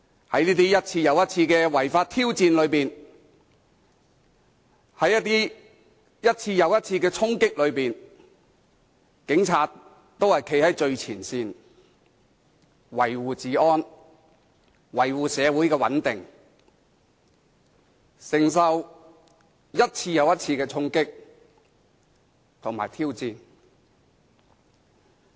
在這些一次又一次的違法挑戰中，在這些一次又一次的衝擊中，警察都站在最前線，維護治安，維護社會穩定，承受一次又一次的衝擊和挑戰。